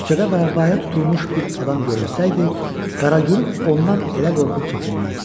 Küçədə vəbaya tutulmuş bir adam görünsəydi, Qaraquruh ondan elə qorxub çəkinməzdi.